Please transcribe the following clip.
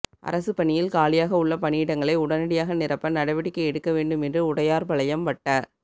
அரசுப் பணியில் காலியாக உள்ள பணியிடங்களை உடனடியாக நிரப்ப நடவடிக்கை எடுக்க வேண்டும் என்று உடையாா்பாளையம் வட்ட